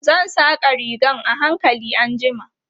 Zan saƙa rigan a hankali anjima.